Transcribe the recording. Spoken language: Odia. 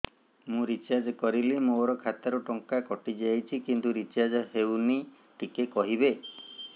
ମୁ ରିଚାର୍ଜ କରିଲି ମୋର ଖାତା ରୁ ଟଙ୍କା କଟି ଯାଇଛି କିନ୍ତୁ ରିଚାର୍ଜ ହେଇନି ଟିକେ କହିବେ